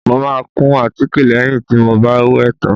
Mo máa kun àtíkè lẹ́yìn tí mo bá wẹ̀ tán